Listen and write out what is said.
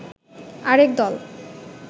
আরেক দল